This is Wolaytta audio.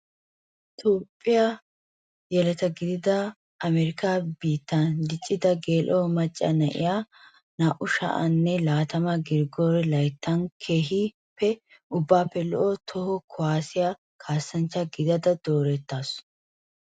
Toophphiyaa yeletta gidada amarikka biittan diccida gelao macca na'iyaa 2020 girigore layttan keehippe ubbappe lo'o toho kuwasiyaa kasanchcha gidada doorettasu.